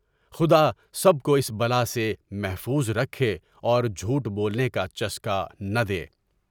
خدا سب کو اس بلا سے محفوظ رکھے اور جھوٹ بولنے کا چسکا نہ دے۔